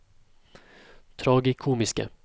tragikomiske